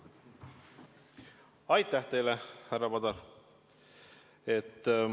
Aitäh teile, härra Padar!